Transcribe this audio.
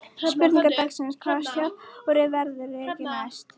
Spurning dagsins: Hvaða stjóri verður rekinn næst?